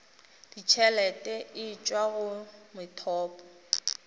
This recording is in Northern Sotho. ditšhelete e tšwa go methopo